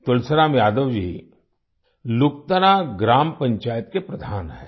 तुलसीराम यादव जी लुकतरा ग्राम पंचायत के प्रधान हैं